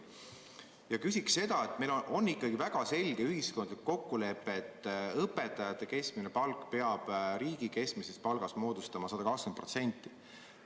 Ma küsin selle kohta, et meil on ikkagi väga selge ühiskondlik kokkulepe, et õpetajate keskmine palk peab riigi keskmisest palgast moodustama 120%.